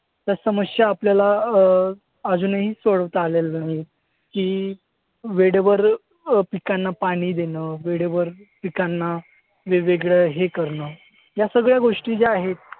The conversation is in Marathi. त्या समस्या आपल्याला अं अजूनही सोडवता आलेल्या नाही आहेत की, वेळेवर अं पिकांना पाणी देणं, वेळेवर पिकांना वेगवेगळं हे करणं, या सगळ्या गोष्टी ज्या आहेत.